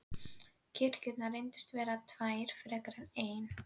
Kirkjurnar reyndust vera tvær frekar en ein.